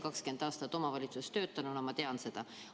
20 aastat omavalitsuses töötanuna ma tean seda.